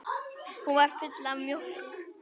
Hún var full af mjólk!